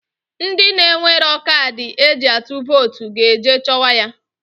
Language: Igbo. Ndị na-enwero kadị e ji atụ votu ga-eje chọwa ya.